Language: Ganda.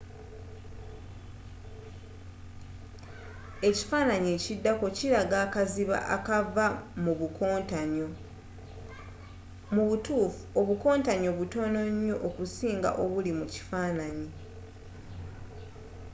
ekifanaanyi ekiddako kilaga akaziba kavaamu obukontanyo mubutuufu obukontanyo butono nyo okusinga obuli mu kifanaanyi